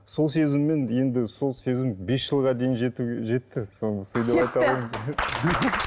сол сезіммен енді сол сезім бес жылға дейін жетті